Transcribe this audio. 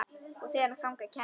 Og þegar þangað kæmi.